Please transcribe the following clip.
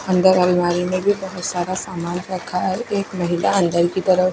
अंदर अलमारी में भी बहोत सारा सामान रखा है एक महिला अंदर की तरफ--